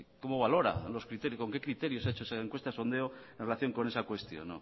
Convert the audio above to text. cómo valora los criterios con qué criterio se ha hecho esa encuesta sondeo en relación con esa cuestión